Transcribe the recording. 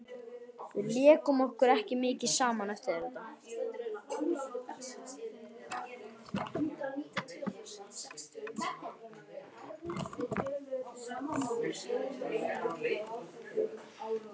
Við lékum okkur ekki mikið saman eftir þetta.